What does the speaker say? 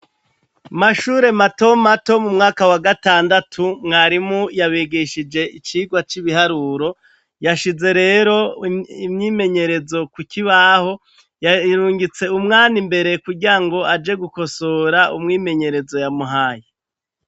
mashure mato mato m'umwaka wa gatandatu mwarimu yabigishije icigwa c'ibiharuro yashize rero imyimenyerezo ku kibaho yarungitse umwan' imbere kugira ngo aje gukosora umwimenyerezo yamuhaye